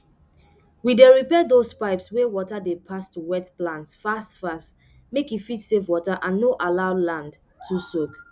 we dey repair dose pipes wey water dey pass to wet plants fast fast make e fit save water and no allow land too soak